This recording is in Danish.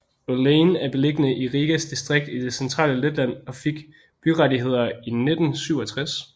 Olaine er beliggende i Rigas distrikt i det centrale Letland og fik byrettigheder i 1967